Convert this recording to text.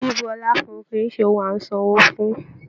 Bíbú ọlá fún kìí ṣe ohùn a n sanwó fún.